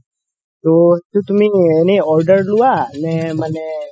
তৌ তুমি এনে order লুৱা নে মানে